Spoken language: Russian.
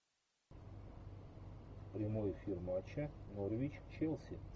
прямой эфир матча норвич челси